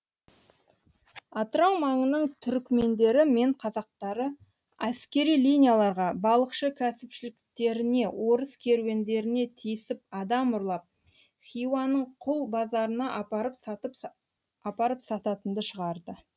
атырау маңының түрікмендері мен қазақтары әскери линияларға балықшы кәсіпшіліктеріне орыс керуендеріне тиісіп адам ұрлап хиуаның құл базарына апарып сататынды шығарды